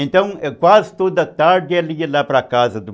Então, quase toda tarde ela ia lá para casa do